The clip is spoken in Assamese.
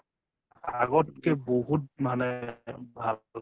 আগতকে বহুত মানে ভাল